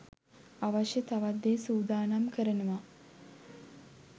අවශ්‍ය තවත් දේ සූදානම් කරනවා